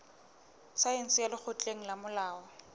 saense ya lekgotleng la molao